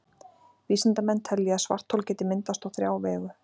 Vísindamenn telja að svarthol geti myndast á þrjá vegu.